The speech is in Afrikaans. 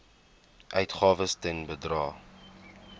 uitgawes ten bedrae